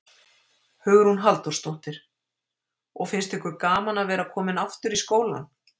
Hugrún Halldórsdóttir: Og finnst ykkur gaman að vera komin aftur í skólann?